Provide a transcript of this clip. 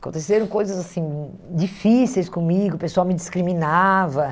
Aconteceram coisas assim difíceis comigo, o pessoal me discriminava.